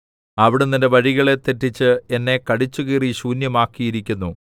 അവിടുന്ന് എന്റെ വഴികളെ തെറ്റിച്ച് എന്നെ കടിച്ചുകീറി ശൂന്യമാക്കിയിരിക്കുന്നു